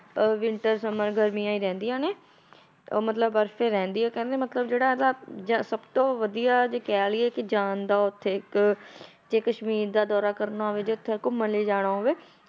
ਅਹ winter summer ਗਰਮੀਆਂ ਹੀ ਰਹਿੰਦੀਆਂ ਨੇ ਉਹ ਮਤਲਬ ਬਰਫ਼ ਹੀ ਰਹਿੰਦੀ ਆ ਕਹਿੰਦੇ ਮਤਲਬ ਜਿਹੜਾ ਇਹਦਾ ਜਾਂ ਸਭ ਤੋਂ ਵਧੀਆ ਜੇ ਕਹਿ ਲਈਏ ਕਿ ਜਾਣ ਦਾ ਉੱਥੇ ਇੱਕ ਜੇ ਕਸ਼ਮੀਰ ਦਾ ਦੌਰਾ ਕਰਨਾ ਹੋਵੇ ਜੇ ਉੱਥੇ ਘੁੰਮਣ ਲਈ ਜਾਣਾ ਹੋਵੇ,